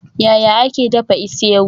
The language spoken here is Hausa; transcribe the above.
Yaya ake dafa isi-ewu?